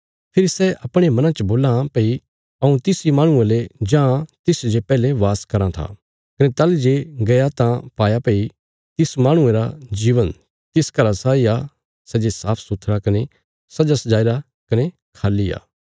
फेरी सै अपणे मना च बोलां इ भई हऊँ तिस इ माहणुये ले जाईं तिसच जे पैहले वास कराँ थी कने ताहली जे गई तां पाया भई तिस माहणुये री जिन्दगी तिस घरा साई सै जे साफ सुथरा कने सजासजाईरा कने खाली ओ